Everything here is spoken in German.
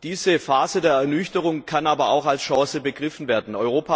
Diese Phase der Ernüchterung kann aber auch als Chance begriffen werden.